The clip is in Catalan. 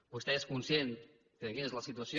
vostè és conscient de quina és la situació